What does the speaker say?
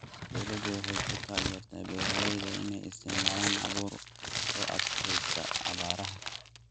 Dawladdu waxay ku taageertaa beeralayda inay isticmaalaan abuur u adkaysta abaaraha.